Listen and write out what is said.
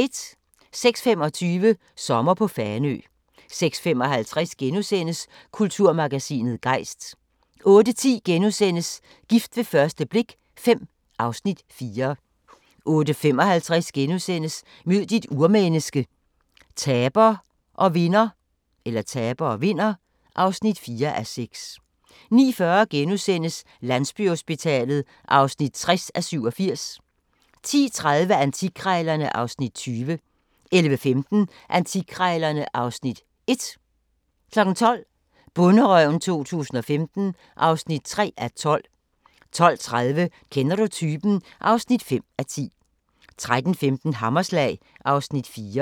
06:25: Sommer på Fanø 06:55: Kulturmagasinet Gejst * 08:10: Gift ved første blik V (Afs. 4)* 08:55: Mød dit urmenneske – taber og vinder (4:6)* 09:40: Landsbyhospitalet (60:87)* 10:30: Antikkrejlerne (Afs. 20) 11:15: Antikkrejlerne (Afs. 1) 12:00: Bonderøven 2015 (3:12) 12:30: Kender du typen? (5:10) 13:15: Hammerslag (Afs. 4)